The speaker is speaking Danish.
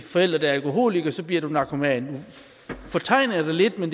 forældre der er alkoholikere så bliver du narkoman nu fortegner jeg det lidt men